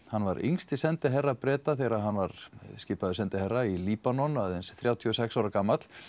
hann var yngsti sendiherra Breta þegar hann var skipaður sendiherra í Líbanon aðeins þrjátíu og sex ára gamall